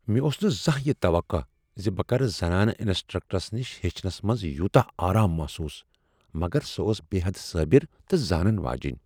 مےٚ اوس نہٕ زانٛہہ یہِ توقہٕ زِ بہٕ کرٕ زنانہٕ انسٹرکٹرس نش ہیٚچھنس منٛز یوتاہ آرام محسوٗس، مگر سۄ ٲس بےٚحد صٲبر تہٕ زانن واجِنۍ ۔